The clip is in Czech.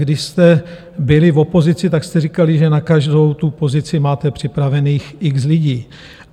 Když jste byli v opozici, tak jste říkali, že na každou tu pozici máte připravených x lidí.